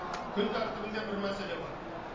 күн тәртібінде бір мәселе бар